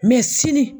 Mɛ sini